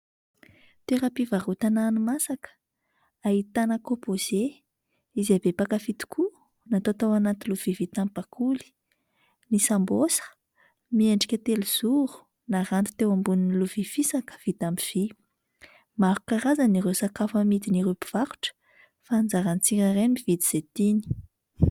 Toeram-pivarotana hani-masaka ahitana "composé" izay be mpankafy tokoa natao tao anaty lovia vita amin'ny bakoly, ny sambosa miendrika telozoro naranty teo ambony lovia fisaka vita amin'ny vy. Maro karazana ireo sakafo amidin'ireo mpivarotra fa anjaran'ny tsirairay no mividy izay tiany.